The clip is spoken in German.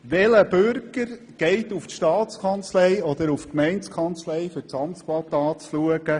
Welcher Bürger besucht die Staatskanzlei oder die Gemeindekanzlei, um sich das Amtsblatt anzusehen?